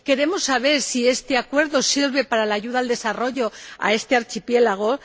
Queremos saber si este acuerdo sirve para la ayuda al desarrollo de este archipiélago.